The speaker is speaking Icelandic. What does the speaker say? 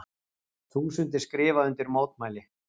Þúsundir skrifa undir mótmæli